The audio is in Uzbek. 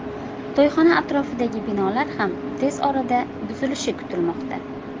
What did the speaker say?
To‘yxona atrofidagi binolar ham tez orada buzilishi kutilmoqda.